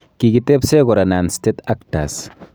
Kikitebsee kora non-state actors